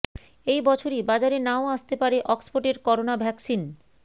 এই বছরই বাজারে নাও আসতে পারে অক্সফোর্ডের করোনা ভ্যাকসিন